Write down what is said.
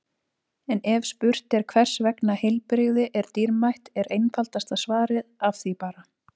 En ef spurt er hvers vegna heilbrigði er dýrmætt er einfaldasta svarið Af því bara!